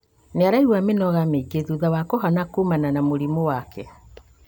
Nĩaraigua mĩnoga mĩingĩ thutha wa kũhona kũmana na mũrimũ wake